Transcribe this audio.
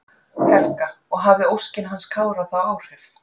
Helga: Og hafði óskin hans Kára þá áhrif?